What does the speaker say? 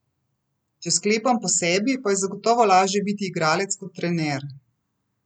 Če sklepam po sebi, pa je zagotovo lažje biti igralec kot trener.